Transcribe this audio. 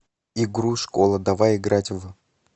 игру школа давай играть в